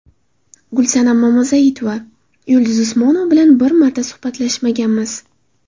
Gulsanam Mamazoitova: Yulduz Usmonova bilan biron marta suhbatlashmaganmiz.